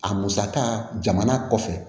A musaka jamana kɔfɛ